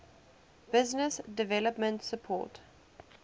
business development support